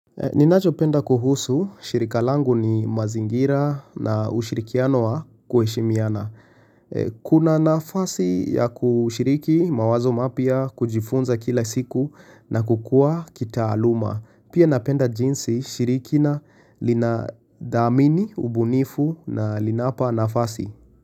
Ninachopenda kuhusu, shirikalangu ni mazingira na ushirikiano wa kuheshimiana. Kuna nafasi ya kushiriki mawazo mapya kujifunza kila siku na kukua kitaaluma. Pia napenda jinsi shirikina lina dhamini, ubunifu na linapa nafasi.